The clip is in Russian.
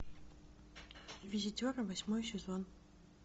визитеры восьмой сезон